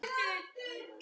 Aldrei sagði hún nei.